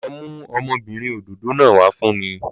Lọ mú ọmọbìnrin òdòdó náà wá fún mi